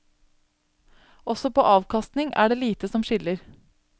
Også på avkastningen er det lite som skiller.